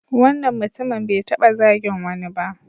Wannan mutumin bai taɓa zagin wani ba.